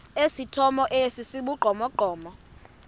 esithomo esi sibugqomogqomo